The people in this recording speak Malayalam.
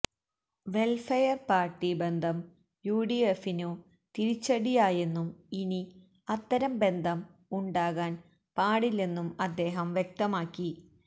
വെല്ഫെയര് പാര്ട്ടി ബന്ധം യുഡിഫിനു തിരിച്ചടിയായെന്നും ഇനി അത്തരം ബന്ധം ഉണ്ടാകാന് പാടില്ലെന്നും അദ്ദേഹം വ്യക്തമാക്കി